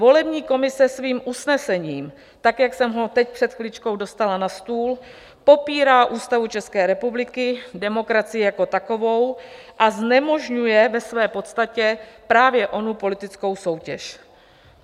Volební komise svým usnesením tak, jak jsem ho teď před chviličkou dostala na stůl, popírá Ústavu České republiky, demokracii jako takovou a znemožňuje ve své podstatě právě onu politickou soutěž.